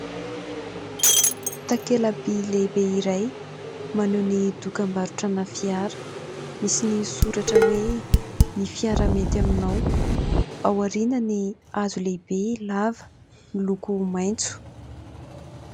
Takelaby lehibe iray, maneho ny dokam-barotra ana fiara. Misy ny soratra hoe : ny fiara mety aminao. Ao aoriany hazo lehibe lava, miloko maitso.